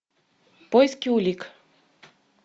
поиски улик